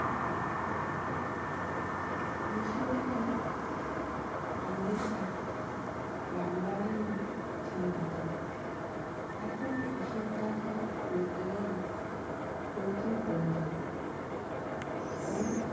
রামনারায়ণ চিন্তিত। এখন হিসেব দাখিল করতে গেলে হইচই পরে যাবে। অনেক